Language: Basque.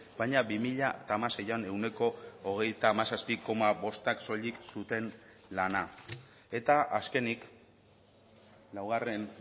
baina bi mila hamaseian ehuneko hogeita hamazazpi koma bostak soilik zuten lana eta azkenik laugarren